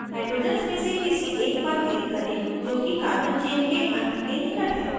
hydrogens में से किसी एक पर click करें जो कि carbon chain के अंत के निकट है